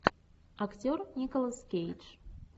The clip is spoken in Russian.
актер николас кейдж